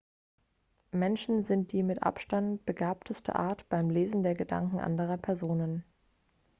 menschen sind die mit abstand begabteste art beim lesen der gedanken anderer personen